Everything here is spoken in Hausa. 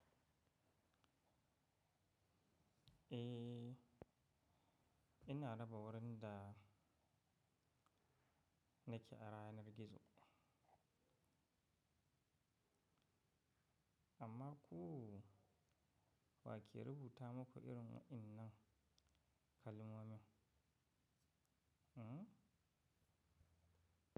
Eh, ina raba wurin da nake a ranar gizo. Amma ku wa ke rubuta muku irin wa'innan kalmomi?